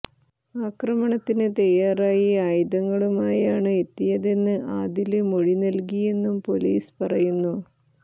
അക്രമണത്തിന് തയ്യാറായി ആയുധങ്ങളുമായാണ് എത്തിയതെന്ന് ആദില് മൊഴി നല്കിയെന്നും പൊലീസ് പറയുന്നു